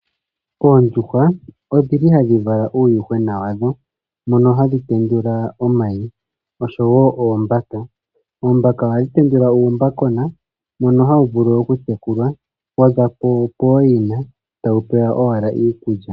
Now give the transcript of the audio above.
Oondjuhwa odhili hadhi vala uuyuhwena mono hadhi tendula omayi oshowo oombaka. Oombaka ohadhi tendula uumbakona mbono hawu vulu oku tekulwa waza pooyina tawu pewa owala iikulya.